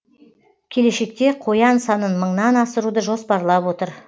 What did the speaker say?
келешекте қоян санын мыңнан асыруды жоспарлап отыр